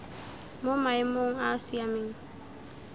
mo maemong a a siameng